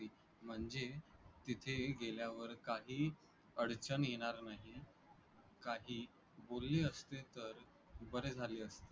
म्हणजे तिथे गेल्यावर काहीही अडचण येणार नाही, काही बोलणी असतील तर बरे झाले असते.